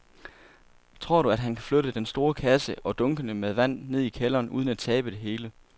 Tror du, at han kan flytte den store kasse og dunkene med vand ned i kælderen uden at tabe det hele?